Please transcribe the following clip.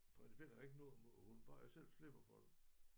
Principielt har jeg ikke noget imod æ hund bare jeg selv slipper for den